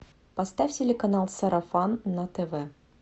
поставь телеканал сарафан на тв